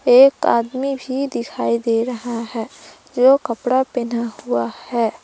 एक आदमी भी दिखाई दे रहा है जो कपड़ा पहना हुआ है।